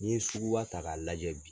N'i ye sugu ba ta k'a lajɛ bi.